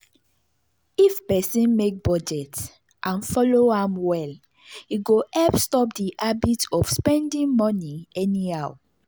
if person make budget and follow am well e go help stop the habit of spending money anyhow.